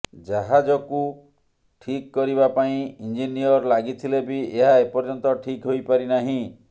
ଜାହାଜକୁ ଠିକ୍ କରିବା ପାଇଁ ଇଂଜିନିଅର ଲାଗିଥିଲେ ବି ଏହା ଏପର୍ଯ୍ୟନ୍ତ ଠିକ୍ ହୋଇପାରି ନାହିଁ